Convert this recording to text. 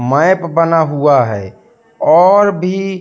map बना हुआ है और भी--